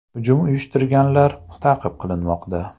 Hujum uyushtirganlar ta’qib qilinmoqda.